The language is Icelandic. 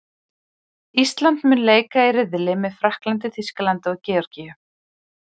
Ísland mun þar leika í riðli með Frakklandi, Þýskalandi og Georgíu.